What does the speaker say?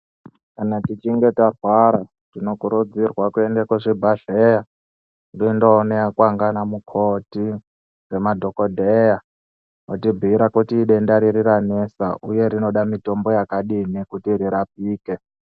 Kana tichinge tarwara tinokurudzirwa kuenda kuzvibhedhlera ndoondonekwa nana mukoti nemadhokodheya voti bhiira kuti idenda riri ranesa uye rinoda mutombo wakadii kuti rirapike.